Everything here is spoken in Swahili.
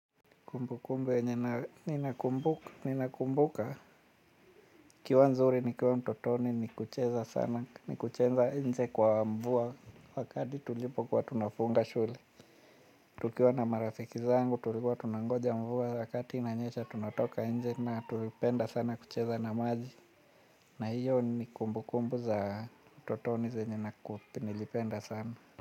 Kumbukumbu yenye nina kumbuka, ikiwa nzuri nikiwa mtotoni ni kucheza sana, ni kucheza nje kwa mvua wakati tulipo kwa tunafunga shule. Tukiwa na marafiki zangu tulipo tunangoja mvua wakati inanyesha tunatoka nje na tulipenda sana kucheza na maji. Na hiyo ni kumbukumbu za mtotoni za nina nilipenda sana.